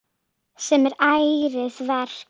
Sem er ærið verk.